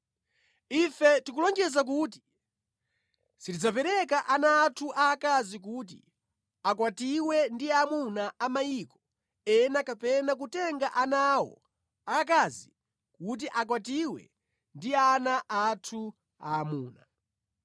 “Ife tikulonjeza kuti sitidzapereka ana athu aakazi kuti akwatiwe ndi amuna a mayiko ena kapena kutenga ana awo aakazi kuti akwatiwe ndi ana athu aamuna.